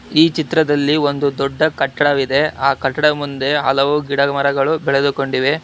ಈ ಚಿತ್ರದಲ್ಲಿ ಒಂದು ದೊಡ್ಡ ಕಟ್ಟಡವಿದೆ ಆ ಕಟ್ಟಡ ಮುಂದೆ ಹಲವು ಗಿಡ ಮರಗಳು ಬೆಳೆದುಕೊಂಡಿವೆ.